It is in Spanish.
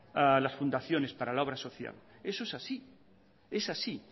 las fundaciones para la obra social eso es así es así